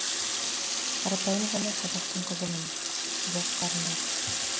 қарапайым ғана қазақтың қызымын жоқ қарындас